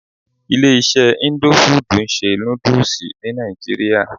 Ilé iṣé indo fudù ń ṣe nódúsì ní nàìjíría.